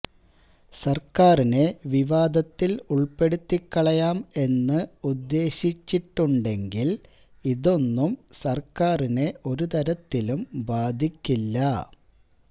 സർക്കാരിനെ വിവാദത്തിൽ ഉൾപ്പെടുത്തിക്കളയാം എന്ന് ഉദ്ദേശിച്ചിട്ടുണ്ടെങ്കിൽ ഇതൊന്നും സർക്കാരിനെ ഒരുതരത്തിലും ബാധിക്കില്ല